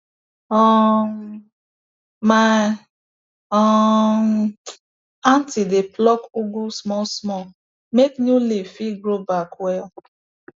um my um aunty dey pluck ugu small small make new leaf fit grow back well